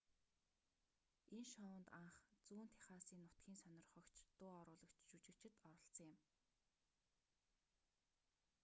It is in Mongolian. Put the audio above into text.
энэ шоунд анх зүүн техасын нутгийн сонирхогч дуу оруулагч жүжигчид оролцсон юм